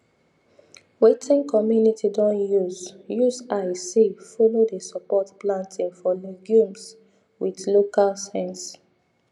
wetin community don use use eyes see follow dey support planting of legumes with local sense